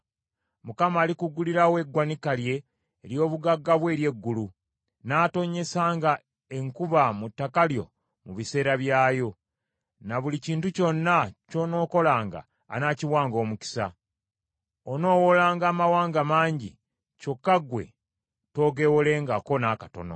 Mukama alikuggulirawo eggwanika lye ery’obugagga bwe ery’eggulu, n’atonnyesanga enkuba mu ttaka lyo, mu biseera byayo, ne buli kintu kyonna ky’onookolanga anaakiwanga omukisa. Onoowolanga amawanga mangi, kyokka ggwe toogeewolengako n’akatono.